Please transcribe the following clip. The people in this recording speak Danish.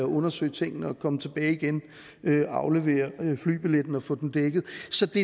undersøge tingene og komme tilbage igen og aflevere flybilletten og få den dækket